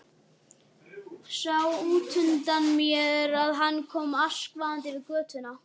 Sá útundan mér að hann kom askvaðandi yfir götuna.